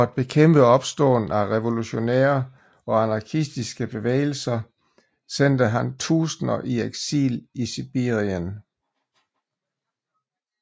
For at bekæmpe opståen af revolutionære og anarkistiske bevægelser sendte han tusinder i eksil i Sibirien